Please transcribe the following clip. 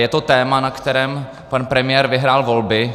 Je to téma, na kterém pan premiér vyhrál volby.